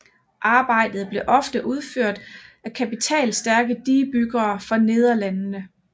Arbejdet blev ofte udført af kapitalstærke digebyggere fra Nederlandene